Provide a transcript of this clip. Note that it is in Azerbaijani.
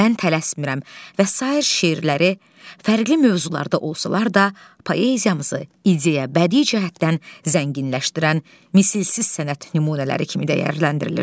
Mən tələsmirəm və sair şeirləri fərqli mövzularda olsalar da, poeziyamızı ideya bədii cəhətdən zənginləşdirən misilsiz sənət nümunələri kimi dəyərləndirilir.